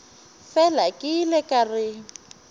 fela ke ile ka re